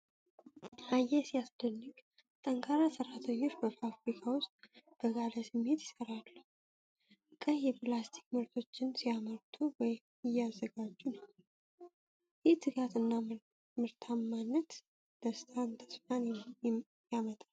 አየህ ሲያስደንቅ! ጠንካራ ሰራተኞች! በፋብሪካ ውስጥ በጋለ ስሜት ይሰራሉ። ቀይ የፕላስቲክ ምርቶችን ሲያመርቱ ወይም እያዘጋጁ ነው። ይህ ትጋትና ምርታማነት ደስታንና ተስፋን ያመጣል፡፡